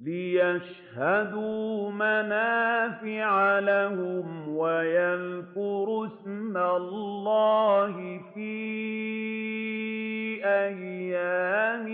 لِّيَشْهَدُوا مَنَافِعَ لَهُمْ وَيَذْكُرُوا اسْمَ اللَّهِ فِي أَيَّامٍ